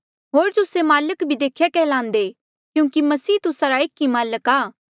होर तुस्से माल्क भी देख्या कैहलांदे क्यूंकि मसीह तुस्सा रा एक ई माल्क आ